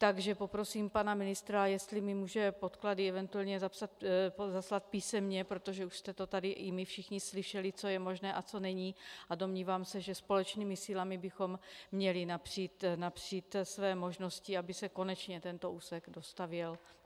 Takže poprosím pana ministra, jestli mi může podklady eventuálně zaslat písemně, protože už jste to tady, i my všichni, slyšeli, co je možné a co není, a domnívám se, že společnými silami bychom měli napřít své možnosti, aby se konečně tento úsek dostavěl.